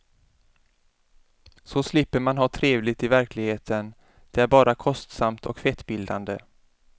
Så slipper man ha trevligt i verkligheten, det är bara kostsamt och fettbildande.